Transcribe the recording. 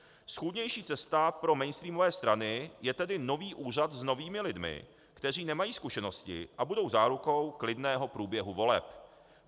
Schůdnější cesta pro mainstreamové strany je tedy nový úřad s novými lidmi, kteří nemají zkušenosti a budou zárukou klidného průběhu voleb.